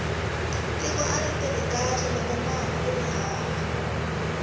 tiko ari tirhi kahle lokomali kuri hava